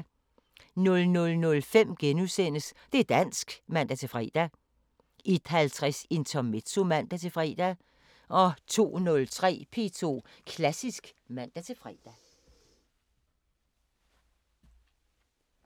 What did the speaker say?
00:05: Det´ dansk *(man-fre) 01:50: Intermezzo (man-fre) 02:03: P2 Klassisk (man-fre)